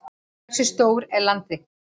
hversu stór er landareign